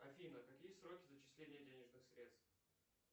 афина какие сроки зачисления денежных средств